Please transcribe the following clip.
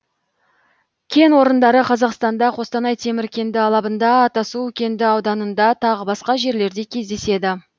кен орындары қазақстанда қостанай темір кенді алабында атасу кенді ауданында тағы басқа жерлерде кездеседі